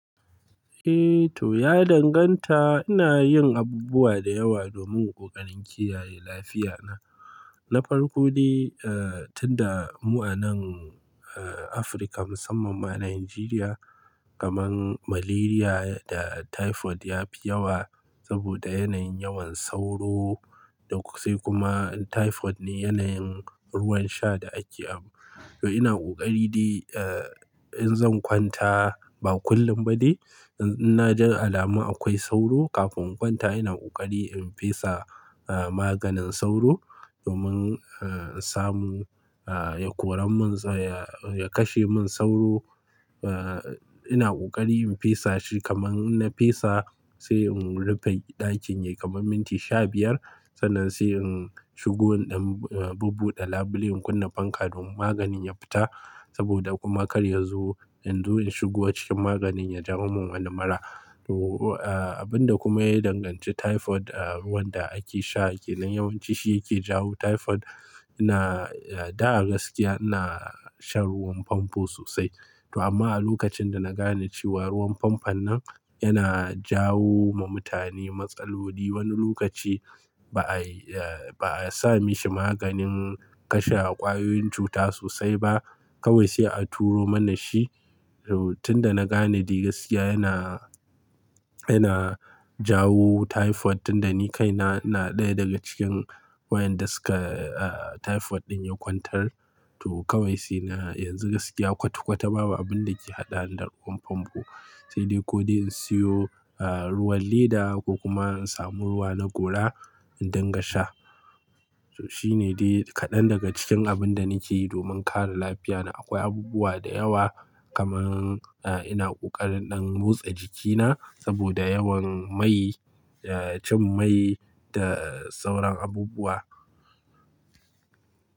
Eh to, ya danganta. Ina yin abubuwa da yawa domin ƙoƙarin kiyaye lafiya na. Na farko dai, eh, tunda mu a nan, eh, Afirka musamman ma Najeriya kamar Malaria da Typhoid yafi yawa saboda yanayin yawan sauro da sai kuma Typhoid ne yanayin ruwan sha da ake. To ina ƙoƙari dai, eh, in zan kwanta ba kullum ba dai, in na ji alama akwai sauro kafin in kwanta ina ƙoƙari in fesa, eh, maganin sauro domin, eh, in samu, eh, ya koren mun ya kashe min sauro. Eh, ina ƙoƙari in fesa shi kamar na fesa sai in rufe ɗakin ya kama minti sha biyar. Sannan sai in shigo in ɗan, eh, bubbuɗe labule in kunna fanka domin maganin ya fita saboda kuma kar yazo in zo in shigo a cikin maganin ya jawo min wani mara. To, abunda kuma ya danganci Typhoid, eh, ruwan da ake sha a kenan yawanci shi yake jawo Typhoid. Ina, da a gaskiya ina shan ruwan famfo sosai. To amma a lokacin da na gane cewa ruwan famfon nan yana jawo wa mutane matsaloli wani lokaci ba a, eh, ba a sami shi maganin kashe ƙwayoyin cuta sosai ba kawai sai a turo mana shi. To tunda na gane dai gaskiya yana, yana jawo Typhoid tunda ni kaina ina ɗaya daga cikin wayanda suka, eh, Typhoid ɗin ya kwantar. To kawai sai na yanzu gaskiya kwata-kwata babu abinda ke haɗani da ruwan famfo, sai dai ko dai in siyo, eh, ruwan Leda ko kuma in samu ruwa na gora in dangasha. To shine dai kaɗan daga cikin abinda nake yi domin kare lafiya na. Akwai abubuwa da yawa kamar, eh, ina ƙoƙarin in motsa jikina saboda yawan mai, eh, cin mai da sauran abubuwa.